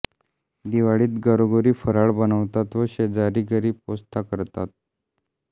दिवाळीत घरोघरी फराळ बनवतात व शेजाऱ्या घरी पोचता करतात